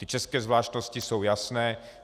Ty české zvláštnosti jsou jasné.